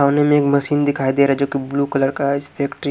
सामने में एक मशीन दिखाई दे रहा है जो कि ब्लू कलर का है --